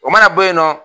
O mana bɔ yen nɔ